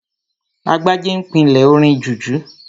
Agbájé n pílè orin jùjú